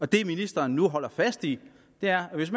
det ministeren nu holder fast i er at hvis